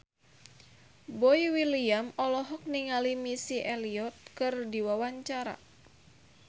Boy William olohok ningali Missy Elliott keur diwawancara